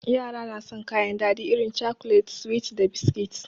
Yara na san kayan daɗi irin cakulet, suwi da biskit.